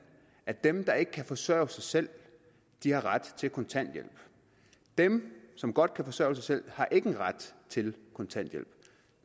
at dem der ikke kan forsørge sig selv har ret til kontanthjælp dem som godt kan forsørge sig selv har ikke ret til kontanthjælp